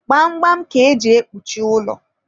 gbamgbam ka eji ekpuchi ụlọ.